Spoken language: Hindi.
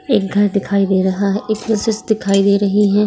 एक घर दिखाई दे रहा है | एक दिखाई दे रही है |